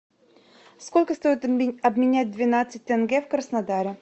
сколько стоит обменять двенадцать тенге в краснодаре